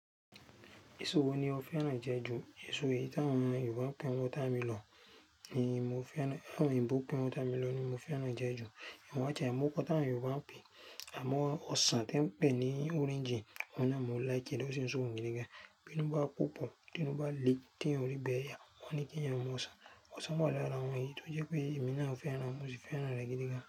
So wo ni o fẹ́ràn jẹ jù? Èso yìí tí àwọn Yorùbá ń pè ọ́ támi lọ ni mo fẹ́ràn, àwọn Ìgbò pè ọ́ támi lọ ni mo fẹ́ràn jẹ jù. Amo àtiẹ àìmookọ́ t'àwọn Yorùbá ń pè. Àmọ́ ọsàn tó ń pè ní orange, ọ̀nà náà mo ń láìké ló sì ń so òun gídígan. Bi inú bá púpọ̀, inú bá le tí ò rí bẹ̀ yá, wọ́n ní kí èèyàn mú ọsàn. Ọsàn wà lára àwọn èyí tó jẹ́ pé èmi náà ò fẹ́ràn, mo sì fẹ́ràn rẹ̀ gídígan.